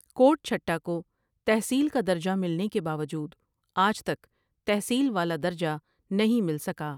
کوٹ چهٹہ کو تحصیل کا درجہ ملنے کے باوجود آج تک تحصیل والا درجہ نہی مل سکا ۔